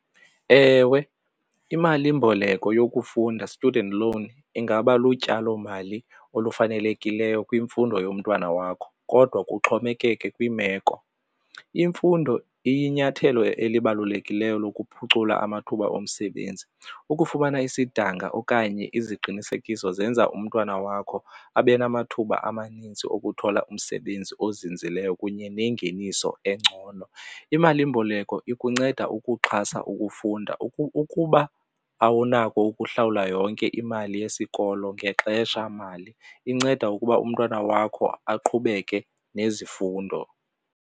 Ewe, imalimboleko yokufunda student loan ingaba lutyalomali olufanelekileyo kwimfundo yomntwana wakho kodwa kuxhomekeke kwimeko. Imfundo iyinyathelo elibalulekileyo lokuphucula amathuba omsebenzi. Ukufumana isidanga okanye iziqinisekiso zenza umntwana wakho abe namathuba amaninzi ukuthola umsebenzi ozinzileyo kunye nengeniso engcono. Imalimboleko ikunceda ukuxhasa ukufunda, ukuba awunako ukuhlawula yonke imali yesikolo ngexesha mali inceda ukuba umntwana wakho aqhubeke nezifundo.